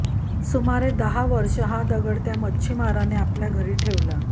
सुमारे दहा वर्षे हा दगड त्या मच्छिमाराने आपल्या घरी ठेवला